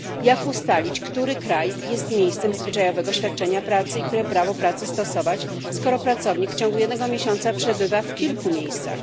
Jak ustalić, który kraj jest miejscem zwyczajowego świadczenia pracy i które prawo pracy stosować, skoro pracownik w ciągu jednego miesiąca przebywa w kilku miejscach?